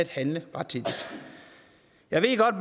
handle rettidigt jeg ved godt